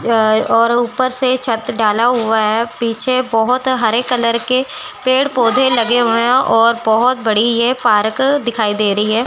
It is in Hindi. और ऊपर से छत डाला हुआ है। पीछे बहोत हरे कलर के पेड़ पौधे लगे हुए हैं और बहोत बड़ी ये पारक दिखाई दे रही है।